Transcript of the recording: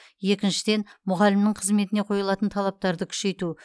екіншіден мұғалімнің қызметіне қойылатын талаптарды күшейту